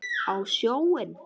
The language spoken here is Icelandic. Á sjóinn?